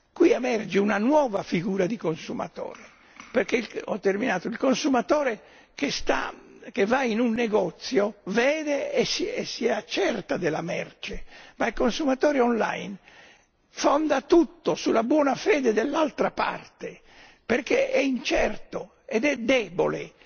Qui emerge una nuova figura di consumatore, perché il consumatore che va in un negozio vede e si accerta della merce, ma il consumatore online fonda tutto sulla buona fede dell'altra parte perché è incerto ed è debole.